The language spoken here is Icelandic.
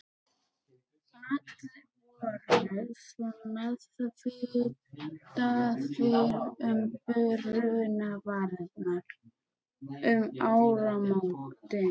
Allir voru svo meðvitaðir um brunavarnir um áramótin.